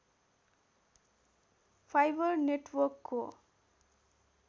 fibre नेटवर्कको